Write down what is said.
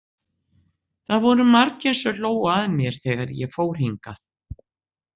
Það voru margir sem hlógu að mér þegar ég fór hingað.